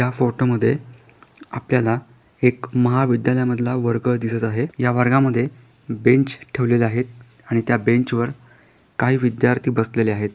या फोटो मध्ये आपल्याला एक महाविद्यालया मधला वर्ग दिसत आहे. या वर्गा मध्ये बेंच ठेवलेले आहे आणि त्या बेंच वर काही विद्यार्थी बसलेले आहेत.